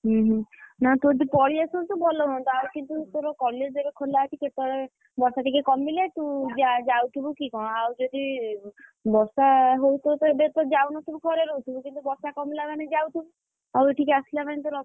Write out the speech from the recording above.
ହୁଁ ହୁଁ, ନାଁ ତୁ ଏବେ ପଳେଇ ଆସନ୍ତୁ ଭଲ ହୁଅନ୍ତା, ଆଉ କିନ୍ତୁ ତୋ college ଏବେ ଖୋଲା ଅଛି, କେତବେଳେ ବର୍ଷାଟିକେ କମିଲେ ତୁଯାଉ ଯାଉଥିବୁ କି କଣ, ଆଉ ଯଦି ବର୍ଷା ହଉଥିବତ ଏବେତ ଯାଉନଥିବୁ ଘରେ ରହୁଥିବୁ, କିନ୍ତୁ ବର୍ଷା କମିଲା ମାନେ ଯାଉଥିବୁ? ଆଉ ଏଠିକି ଆସିଲା ମାନେ ତୋର,